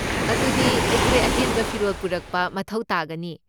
ꯑꯗꯨꯗꯤ , ꯑꯩꯈꯣꯏ ꯑꯍꯦꯟꯕ ꯐꯤꯔꯣꯜ ꯄꯨꯔꯛꯄ ꯃꯊꯧ ꯇꯥꯒꯅꯤ꯫